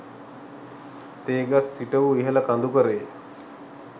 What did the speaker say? තේ ගස් සිටවූ ඉහළ කඳුකරයේ